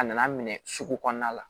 A nana minɛ sugu kɔnɔna la